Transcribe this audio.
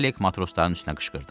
Fəlek matrosların üstünə qışqırdı.